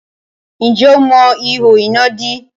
Ǹjẹ́ o mọ ihò iná dè?